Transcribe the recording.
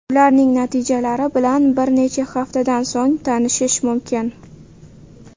Ularning natijalari bilan bir necha haftadan so‘ng tanishish mumkin.